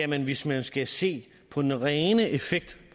man hvis man skal se på den rene effekt